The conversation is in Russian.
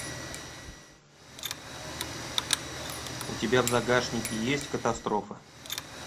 у тебя в загашнике есть катастрофа